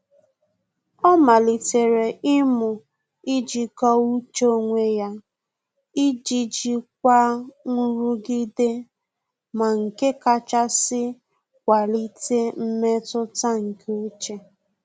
Ọ́ màlị́tèrè imu ijíkọ́ọ́ úchè onwe ya iji jikwa nrugide ma nke kàchàsị́ kwalite mmetụta nke úchè.